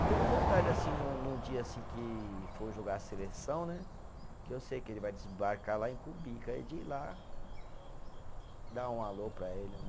Tenho vontade assim num, num dia assim que for jogar a seleção né, que eu sei que ele vai desembarcar lá em Cumbica, aí de ir lá, dar um alô para ele né.